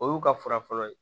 O y'u ka fura fɔlɔ ye